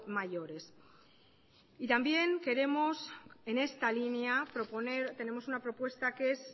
mayores y también queremos en esta línea proponer tenemos una propuesta que es